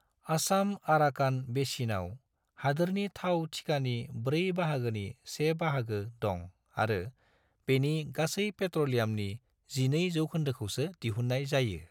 आसाम-आराकान बेसिनाव हादोरनि थाव थिखानि ब्रै बाहागोनि से बाहागो दं आरो बेनि गासै पेट्रलियामनि 12 जौखोन्दोसोखौ दिहुन्नाय जायो।